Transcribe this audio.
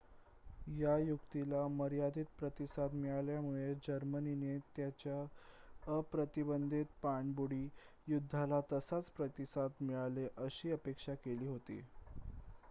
या युक्तीला मर्यादीत प्रतिसाद मिळाल्यामुळे जर्मनीने त्याच्या अप्रतिबंधित पाणबुडी युद्धाला तसाच प्रतिसाद मिळेल अशी अपेक्षा केली होती